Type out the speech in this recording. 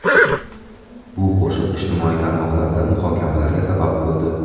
Bu qo‘shiq ijtimoiy tarmoqlarda muhokamalarga sabab bo‘ldi.